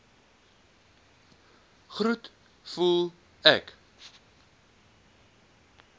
groet voel ek